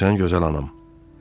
Başa düşürsən gözəl anam?